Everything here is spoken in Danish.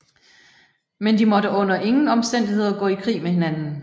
Men de måtte under ingen omstændigheder gå i krig med hinanden